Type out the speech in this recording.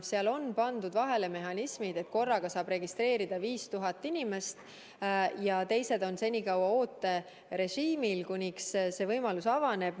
Seal on pandud vahele sellised mehhanismid, et korraga saab end registreerida 5000 inimest ja teised on senikaua ooterežiimil, kuni võimalus avaneb.